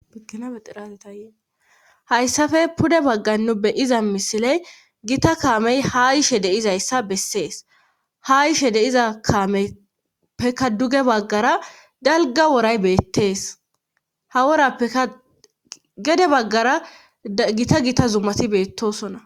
Inaeiraetayeehayssafe pude baggannu beyiza misiley gita kaamey ha yishe deizayssa bessees ha yishe deiza kaamey peka duge baggara dalga woray beettees hawora ekagede baggara gita gita zumati beettosona